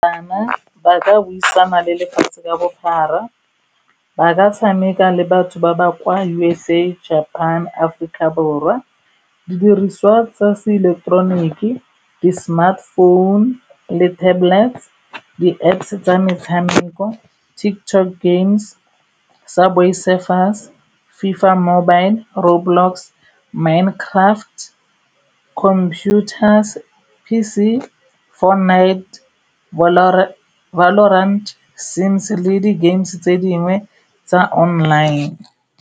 Bana ba ka buisana le lefatshe ka bophara ba ka tshameka le batho ba ba kwa U_S_A, Japan, Aforika Borwa didiriswa tsa se eleketeroniki di-smartphone le tablet di-Apps tsa metshameko, TikTok games, subway surfers, fifa mobile, road blocks, minecraft, computer P_C, four night le di-games tse dingwe tsa online.